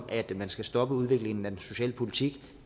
at man skal stoppe udviklingen af socialpolitikken